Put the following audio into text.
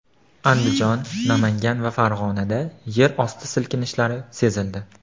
Andijon, Namangan va Farg‘onada yerosti silkinishlari sezildi.